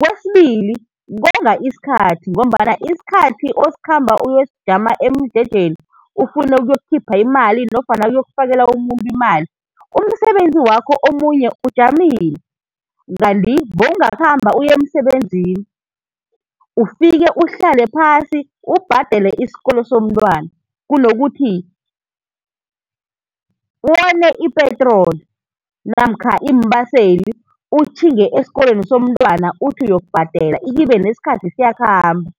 Kwesibili konga isikhathi ngombana isikhathi osikhamba uyosijama emjejeni ufune ukuyokukhipha imali nofana uyokufakela umuntu imali, umsebenzi wakho omunye ujamile, kanti bewungakhamba uye emsebenzini ufike uhlale phasi ubhadele isikolo somntwana kunokuthi wone ipetroli, namkha iimbaseli utjhinge esikolweni somntwana uthi uyokubhadela ikhibe nesikhathi siyakhamba.